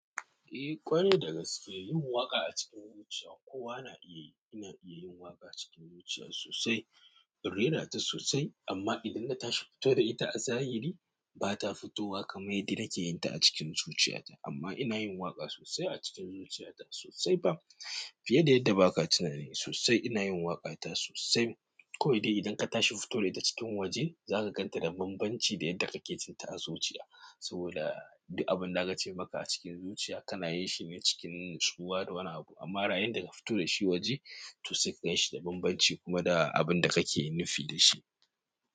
Eh ƙwarai da gaske yin waƙa a cikin zuciya kowa na iya yu ina iya yin waƙa cikin zuciya sosai, in rera ta sosai. Amma idan na tashi fito da ita a zahiri, ba ta fito wa kamar yadda nake yin ta a cikin zuciya ta. Amma ina yin waƙa sosai a cikin zuciya ta sosai. Fiye da yadda ba ka tunani sosai. Ina yin waƙa ta sosai. Kowai de idan ka tashi fito da ita cikin waje, za ka gan ta da bambanci da yadda kake jin ta a zuciya. Saboda duk abin da aka ce maka a cikin zuciya, ka na yi shi ne cikin natsuwa da wani abu. Amma yayin daka fito da shi waje, to sai ka gan shi da bambanci kuma da abin da kake nufi da shi.